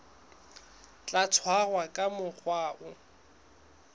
tla tshwarwa ka mokgwa o